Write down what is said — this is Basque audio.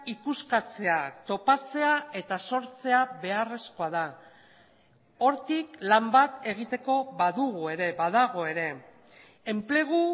ikuskatzea topatzea eta sortzea beharrezkoa da hortik lan bat egiteko badugu ere badago ere enplegu